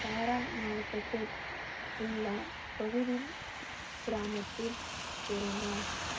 தாரான் மாவட்டத்தில் உள்ள பகுதி கிராமத்தில் பிறந்தார்